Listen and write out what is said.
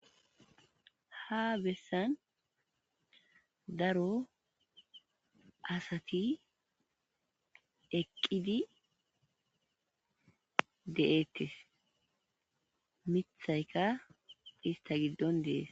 Ha bessan daro asati eqqidi de'etees ; miththayka ista giddon de'es.